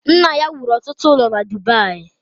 Nna ya wuru ọtụtụ ụlọ na Dubayi